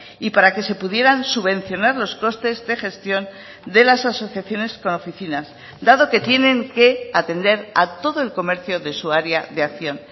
y para que se pudieran subvencionar los costes de gestión de las asociaciones con oficinas dado que tienen que atender a todo el comercio de su área de acción